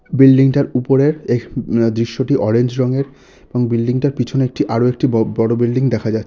Building টার উপরের এক-- দৃশ্যটি অরেঞ্জ রঙের এবং বিল্ডিং টার পিছনে একটি আরো একটি ব--বড়ো বিল্ডিং দেখা যায়।